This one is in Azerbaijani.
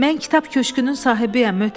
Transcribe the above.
Mən kitab köşütünün sahibiyəm.